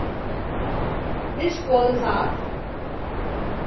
Við skoðum það.